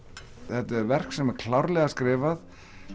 þetta er verk sem er klárlega skrifað